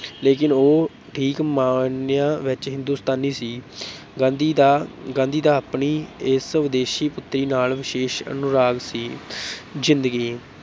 ਲੇਕਿਨ ਉਹ ਠੀਕ ਮਾਅਨਿਆਂ ਵਿੱਚ ਹਿੰਦੁਸ‍ਤਾਨੀ ਸੀ ਗਾਂਧੀ ਦਾ ਗਾਂਧੀ ਦਾ ਆਪਣੀ ਇਸ ਵਿਦੇਸ਼ੀ ਪੁਤਰੀ ਨਾਲ ਵਿਸ਼ੇਸ਼ ਅਨੁਰਾਗ ਸੀ ਜ਼ਿੰਦਗੀ